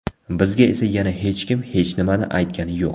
Bizga esa yana hech kim hech nimani aytgani yo‘q.